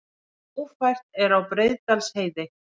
Ófært er á Breiðdalsheiði